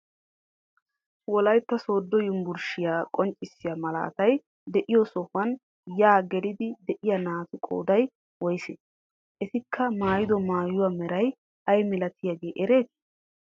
Wolaytta sooddo yunibburushiyaa qonccisiyaa malaatay de'iyo sohuwaan yaa geliidi de'iyaa naatu qooday woysee? etikka maayido maayuwaa meray ayi milatiyaagee eretii?